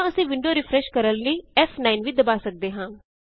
ਜਾਂ ਅਸੀਂ window refresh ਕਰਨ ਲਈ ਫ਼9 ਵੀ ਦਬਾ ਸਕਦੇ ਹਾਂ